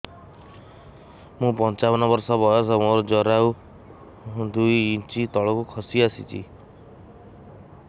ମୁଁ ପଞ୍ଚାବନ ବର୍ଷ ବୟସ ମୋର ଜରାୟୁ ଦୁଇ ଇଞ୍ଚ ତଳକୁ ଖସି ଆସିଛି